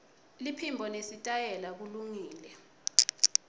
liphimbo nesitayela kulungile